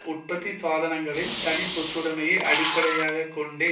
உற்பத்தி சாதனங்களில் தனிச்சொத்துடைமையை அடிப்படையாக கொண்ட